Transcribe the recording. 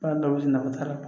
Baara dɔw bɛ na t'a la